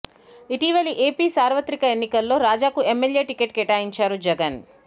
ఇటీవల ఏపీ సార్వత్రి ఎన్నికల్లో రాజాకు ఎమ్మెల్యే టికెట్ కేటాయించారు జగన్